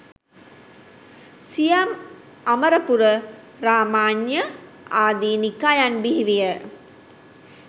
සියම්, අමරපුර, රාමඤ්ඤ ආදී නිකායන් බිහි විය.